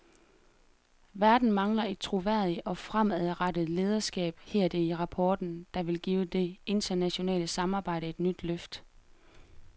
Verden mangler et troværdigt og fremadrettet lederskab, hedder det i rapporten, der vil give det internationale samarbejde et nyt løft.